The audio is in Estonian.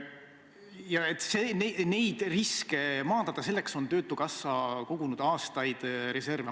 Ja et neid riske maandada, on töötukassa aastaid reserve kogunud.